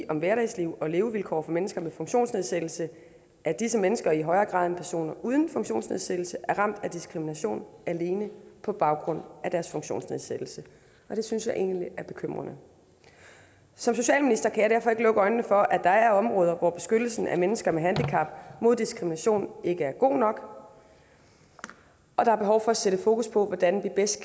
om hverdagsliv og levevilkår for mennesker med funktionsnedsættelse at disse mennesker i højere grad end personer uden funktionsnedsættelse er ramt af diskrimination alene på baggrund af deres funktionsnedsættelse og det synes jeg egentlig er bekymrende som socialminister kan jeg derfor ikke lukke øjnene for at der er områder hvor beskyttelsen af mennesker med handicap mod diskrimination ikke er god nok og der er behov for at sætte fokus på hvordan vi bedst